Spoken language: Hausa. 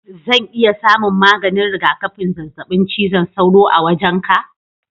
Zan iya samun maganin rigakafin zazzabin cizon sauro a wajenka?